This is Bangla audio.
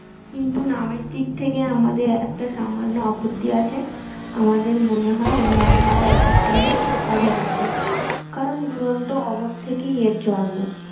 কিন্তু নামের দিক থেকে আমাদের একটা অমান্য আপত্তি আছে। আমাদের মনে হয় এর নাম হওয়া উচিত ছিল অভাব নাটক। কারণ অভাব থেকেই এর জন্ম।